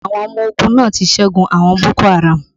Àwọn ọmọ ogun náà ti ṣẹ́gun àwọn boko haraamu